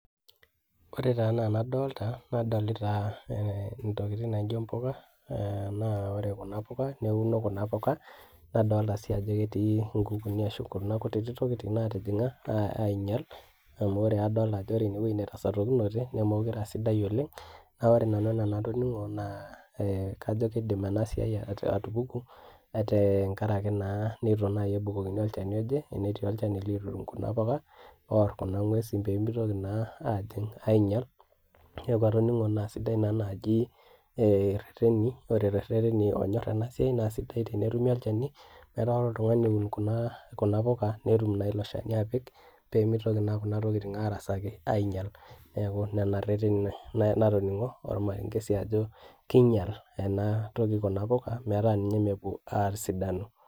ore taa anaa enadoolta nadolita ntokitin naijo mpuka, naa ore kuna puka neun kuna puka, nadoolta sii ajo ketii nkukuni ashu kuna kuti tokitin naatijing'a, aing'ial amu adoolta ajo ore ene wueji netasotokinote nemeekure aasidai oleng. naa ore nanu enaa enatoning'o naa ee kajo kidim ena siai atupuku, tenkaraki naa netu naaji ebukokini olchani oje, netii olchani likitum kuna puka oor, kuna ng'uesin pee mitoki naa aajing',aing'ail neeeku atoning'o naa sidai naa naaji ee rereteni.or too reteni oonyor ena siai naa sidai tenetumi olchani, metaa ore oltungani oun kuna puka, netum naa ilo shani apik, pee mitoki naa kuna tokitin aarasaki aing'ial, neeku nena reteni natoning'o ormarenke sii ajo keng'ial, ena toki kuna puka metaa ninye. mepuo aasidanu.